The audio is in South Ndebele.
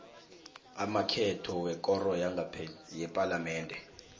amakhetho wekoro yepalamende